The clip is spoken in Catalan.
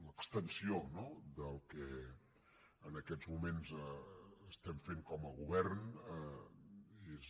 l’extensió no del que en aquests moments estem fent com a govern és